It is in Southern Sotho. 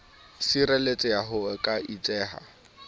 sireletseha ha ho ka etseha